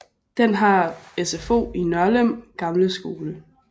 Den har SFO i Nørlem gamle skole